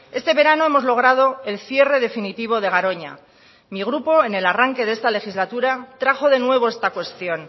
este verano hemos logrado el cierre definitivo de garoña mi grupo en el arranque de esta legislatura trajo de nuevo esta cuestión